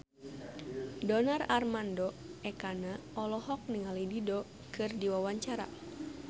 Donar Armando Ekana olohok ningali Dido keur diwawancara